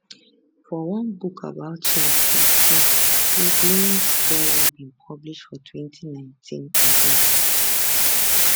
for one book about chess for school wey bloomsbury bin publish for 2019 oga